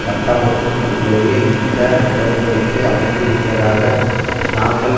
கட்டமைப்புக்குள்ளேயே இந்த உடன் படிக்கை அமைந்திருப்பதாக நாங்கள்